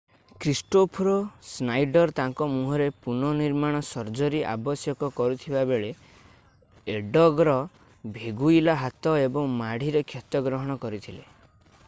Christopher Snyder ତାଙ୍କ ମୁହଁରେ ପୁନଃନିର୍ମାଣ ସର୍ଜରୀ ଆବଶ୍ୟକ କରୁଥିବାବେଳେ ଏଡଗର୍ ଭେଗୁଇଲା ହାତ ଏବଂ ମାଢିରେ କ୍ଷତ ଗ୍ରହଣ କରିଥିଲେ